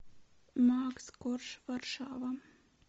макс корж варшава